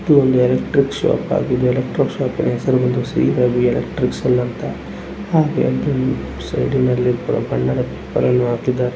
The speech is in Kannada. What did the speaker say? ಇದು ಎಲೆಕ್ಟ್ರಿಕ್ ಶಾಪ್ ಆಗಿದೆ. ಎಲೆಕ್ಟ್ರಿಕ್ ಶಾಪ್ ಹೆಸರು ಬಂದು ಶ್ರೀ ರವಿ ಎಲೆಕ್ಟ್ರಾನಿಕ್ಸ್ ಅಂತ ಇದೆಹಾಗೆ ಸೈಡ್ನಲ್ಲಿ ಬೋರ್ಡ್ ಹಾಕಿದ್ದಾರೆ.